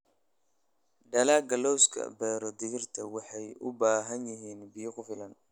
Dalagga lawska beero digirta waxay u baahan yihiin biyo ku filan.